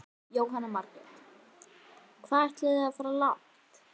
Jóhanna Margrét: Hvað ætlið þið að fara langt?